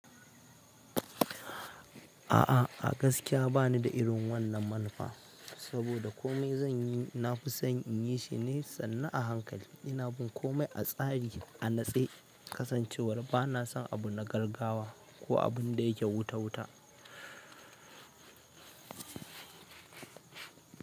A'a a gaskiya banida irin wannan manufa. Saboda kome zan yi, na fi son in yi shi ne sannu a hankali. Ina bin komai a tsari, a natse, kasancewar bana son abu na gaggawa ko abun da yake wuta wuta.